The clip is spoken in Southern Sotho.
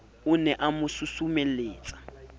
o ne a mo susumelletsa